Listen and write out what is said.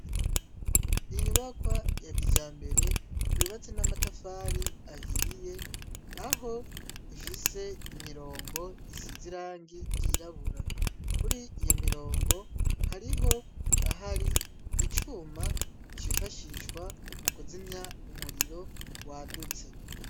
Inyubakwa ya kijambere yubatse n'amatafari ahiye aho ifise imirongo isizirangi ryirabura kuri iyo mirongo hariho ahari icyuma cifashishwa mu kuzimya umuriro wadutse.